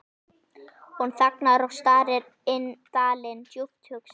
Hún þagnar og starir inn dalinn, djúpt hugsi.